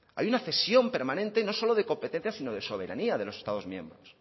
hay una cesión permanente no solo de competencias sino de soberanía de los estados miembros